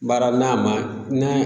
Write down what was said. Baara n'a ma n'a